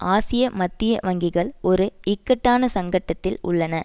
ஆசிய மத்திய வங்கிகள் ஒரு இக்கட்டான சங்கட்டத்தில் உள்ளன